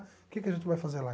O que que a gente vai fazer lá?